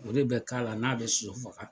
O de bɛ k'a la n'a bɛ sosofaga.